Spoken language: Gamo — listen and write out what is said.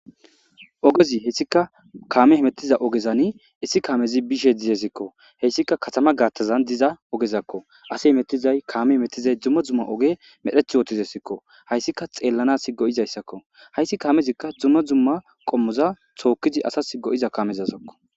ogezi hessika kaame hmettiza ogezani issi kaamezi bishe dizesikko hessika katama gaattazan diza ogezakko ase hemettizay kaame emettizay dzumma dzumma oge medheth wootizesikko hayssika xeellana si go7izayssakko hayssi kaamezikka dzumma dzumma qommoza tookizi asa go7iza kaamezazakko